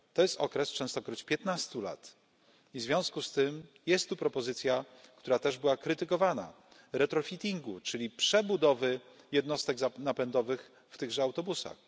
To jest okres częstokroć piętnastu lat i w związku z tym jest tu propozycja, która też była krytykowana, retrofittingu czyli przebudowy jednostek napędowych w tychże autobusach.